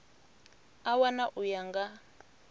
a wana u ya nga